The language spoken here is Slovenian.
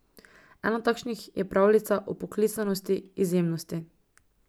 Ena takšnih je pravljica o poklicanosti, izjemnosti.